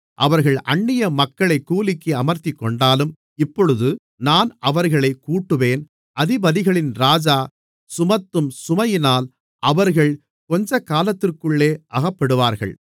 அவர்கள் அன்னியமக்களைக் கூலிக்கு அமர்த்திக்கொண்டாலும் இப்பொழுது நான் அவர்களைக் கூட்டுவேன் அதிபதிகளின் ராஜா சுமத்தும் சுமையினால் அவர்கள் கொஞ்சகாலத்திற்குள்ளே அகப்படுவார்கள்